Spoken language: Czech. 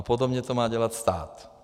A podobně to má dělat stát.